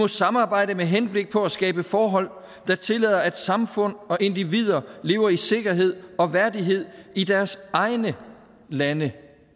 samarbejde med henblik på at skabe forhold der tillader at samfund og individer lever i sikkerhed og værdighed i deres egne lande